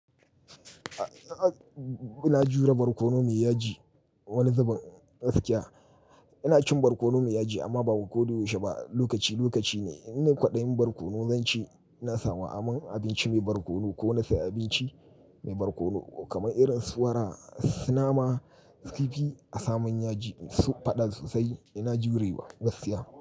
Ina jure barkono mai yaji, wani zubin gaskiya. Ina cin barkono mai yaji amma ba koda yau she ba, lokaci lokaci ne. Ina kwaɗayin barkono zan ci, ina samun aman abinci mai barkono ko na sayi abinci mai barkono kamar irin su wara, su nama, su kifi a samun yaji su faɗa sosai ina jurewa gaskiya.